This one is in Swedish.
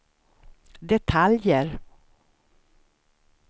detaljer